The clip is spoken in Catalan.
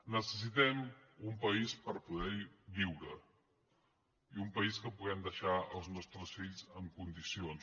necessitem un país per poder hi viure i un país que puguem deixar als nostres fills en condicions